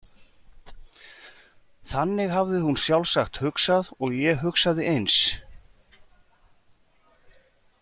Þannig hafði hún sjálfsagt hugsað og ég hugsaði eins.